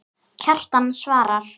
Kjartan svarar